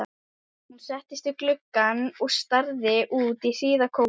Hún settist við gluggann og starði út í hríðarkófið.